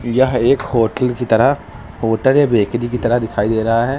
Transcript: यह एक होटल की तरह होटल या बेकरी की तरह दिखाई दे रहा है।